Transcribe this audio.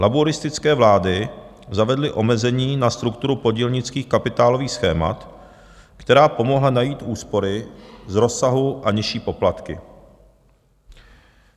Labouristické vlády zavedly omezení na strukturu podílnických kapitálových schémat, která pomohla najít úspory z rozsahu a nižší poplatky.